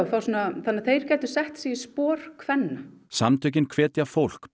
þannig að þeir gætu sett sig í spor kvenna samtökin hvetja fólk bæði